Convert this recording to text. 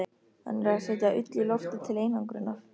Hann er að setja ull í loftið til einangrunar.